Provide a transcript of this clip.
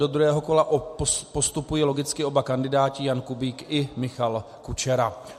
Do druhého kola postupují logicky oba kandidáti, Jan Kubík i Michal Kučera.